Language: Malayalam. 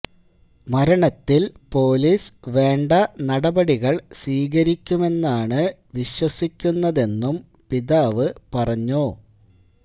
മരണത്തില് പൊലീസ് വേണ്ട നടപടികള് സ്വീകരിക്കുമെന്നാണ് വിശ്വസിക്കുന്നതെന്നും പിതാവ് പറഞ്ഞു